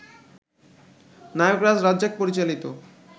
নায়করাজ রাজ্জাক পরিচালিত